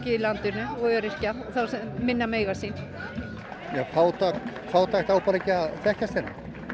í landinu og öryrkja þá sem minna mega sín fátækt á bara ekki að þekkjast hérna